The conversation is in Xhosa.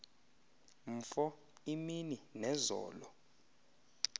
mfo imini nezolo